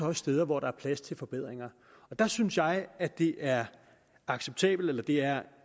også steder hvor der er plads til forbedringer der synes jeg at det er det er